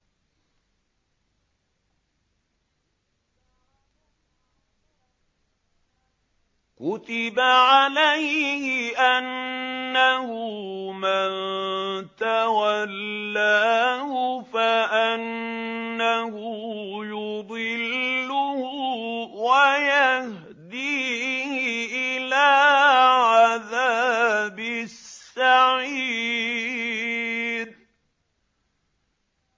كُتِبَ عَلَيْهِ أَنَّهُ مَن تَوَلَّاهُ فَأَنَّهُ يُضِلُّهُ وَيَهْدِيهِ إِلَىٰ عَذَابِ السَّعِيرِ